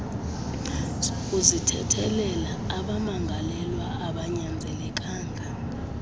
sokuzithethelela abamangalelwa abanyanzelekanga